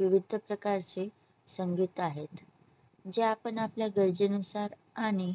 विविध प्रकारचे संगीत आहेत जे आपण आपल्या गरजेनुसार आणि